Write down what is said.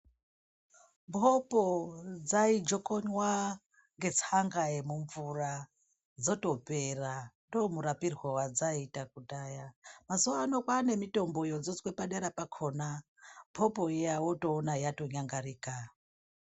Mhopo dzaijokonwa ngetsanga yemvura dzotopera ndomurapirwo wadzaitwa kudhaya mazuva ano kwane mitombo yodzodzwa padera pakona mhopo iya wotoona yatonyangarika.